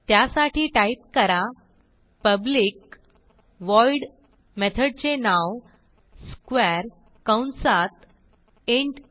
त्यासाठी टाईप करा public void मेथडचे नाव स्क्वेअर कंसात इंट आ